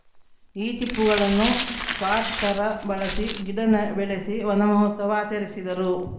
ಈ ಚಿಪ್ಪುಗಳನ್ನು ಪಾಟ್‌ ತರ ಬಳಸಿ ಗಿಡ ನೆ ಬೆಳೆಸಿ ವನಮಹೋತ್ಸವ ಆಚರಿಸಿದರು